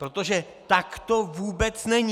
Protože tak to vůbec není!